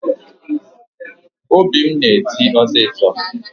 Obi m na-eti osisọ